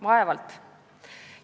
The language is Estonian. Vaevalt!